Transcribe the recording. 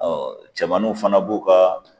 cɛmaninw fana b'u ka